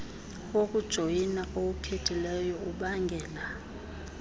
wokujoyina owukhethileyo ubangela